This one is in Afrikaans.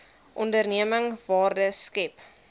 onderneming waarde skep